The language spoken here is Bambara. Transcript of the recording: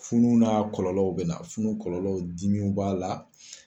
Funu n'a kɔlɔlɔw bɛ na funu kɔlɔlɔw dimiw b'a la